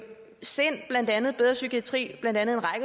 sind bedre psykiatri